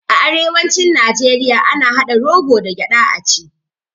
A arewacin najeriya ana haɗa rogo da gyaɗa a ci